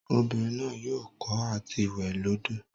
Obinrin naa yoo ko ati we lodo.